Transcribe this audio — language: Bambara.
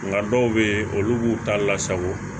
Nka dɔw bɛ yen olu b'u ta lasago